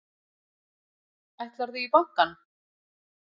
Ætlarðu í bankann?